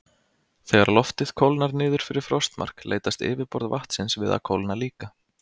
Þegar loftið kólnar niður fyrir frostmark leitast yfirborð vatnsins við að kólna líka.